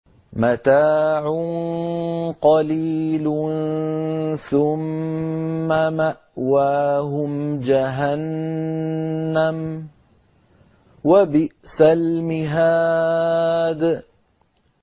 مَتَاعٌ قَلِيلٌ ثُمَّ مَأْوَاهُمْ جَهَنَّمُ ۚ وَبِئْسَ الْمِهَادُ